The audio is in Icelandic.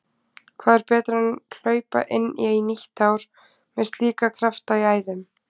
Hvað er betra en hlaupa inn í nýtt ár með slíka krafta í æðum?